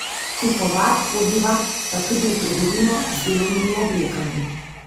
Kupovat hodiva pa tudi v trgovino z delovnimi oblekami.